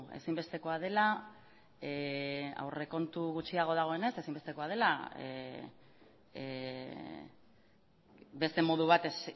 ezinbestekoa dela aurrekontu gutxiago dagoenez ezinbestekoa dela beste modu batez